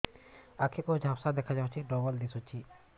ଆଖି କୁ ଝାପ୍ସା ଦେଖାଯାଉଛି ଡବଳ ଦିଶୁଚି